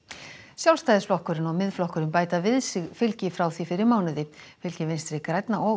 Sjálfstæðisflokkurinn og Miðflokkurinn bæta við sig fylgi frá því fyrir mánuði fylgi Vinstri grænna og